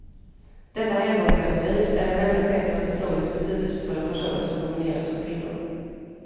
Detta helgongalleri är den enda krets av historiskt betydelsefulla personer som domineras av kvinnor.